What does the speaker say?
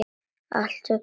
Allt, hugsar maður.